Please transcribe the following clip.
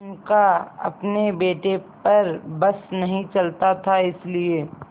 उनका अपने बेटे पर बस नहीं चलता था इसीलिए